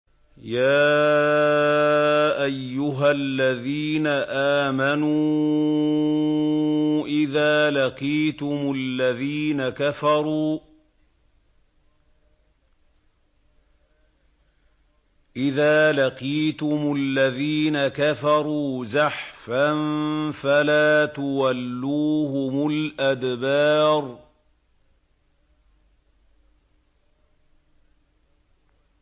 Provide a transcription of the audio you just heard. يَا أَيُّهَا الَّذِينَ آمَنُوا إِذَا لَقِيتُمُ الَّذِينَ كَفَرُوا زَحْفًا فَلَا تُوَلُّوهُمُ الْأَدْبَارَ